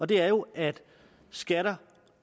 det er jo at skatter